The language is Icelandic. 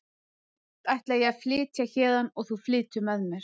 Í nótt ætla ég að flytja héðan og þú flytur með mér.